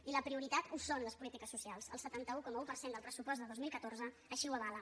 i la prioritat ho són les polítiques socials el setanta un coma un per cent del pressupost de dos mil catorze així ho avala